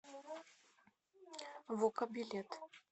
вока билет